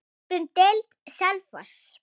Upp um deild:, Selfoss